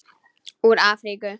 Úr Afríku!